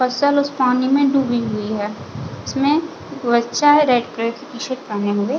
फसल उस पानी में डूबी हुई है इसमें एक बच्चा है रेड रेड की टी-शर्ट पहने हुए है।